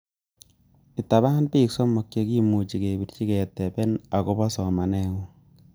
Itaban bik somok chekimuche kebirichi ketemen agobo somanengung.